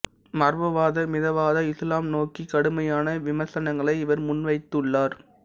மரபுவாத மிதவாத இசுலாம் நோக்கி கடுமையான விமர்சனங்களை இவர் முன்வைத்துள்ளார்